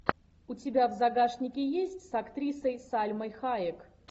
у тебя в загашнике есть с актрисой сальмой хайек